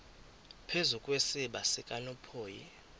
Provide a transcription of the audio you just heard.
phezu kwesiziba sikanophoyi